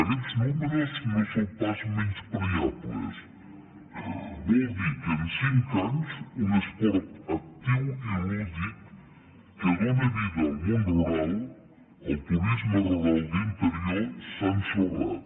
aquests números no són pas menyspreables vol dir que en cinc anys un esport actiu i lúdic que dóna vida al món rural al turisme rural d’interior s’ha ensorrat